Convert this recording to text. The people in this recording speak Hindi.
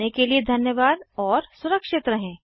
सुनने के लिए धन्यवाद और सुरक्षित रहें